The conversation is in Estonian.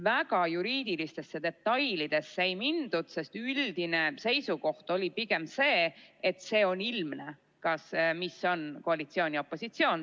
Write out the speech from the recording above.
Väga juriidilistesse detailidesse ei mindud, sest üldine seisukoht oli pigem see, et on ilmne, mis on koalitsioon ja opositsioon.